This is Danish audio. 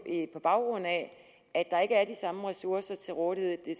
på baggrund af at der ikke er de samme ressourcer til rådighed i